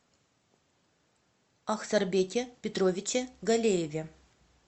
ахсарбеке петровиче галееве